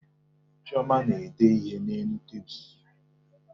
Chioma na-ede ihe n'elu tebulu